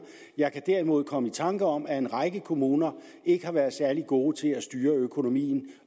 jeg kan derimod komme i tanker om at en række kommuner ikke har været særlig gode til at styre økonomien